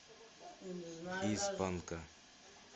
из панка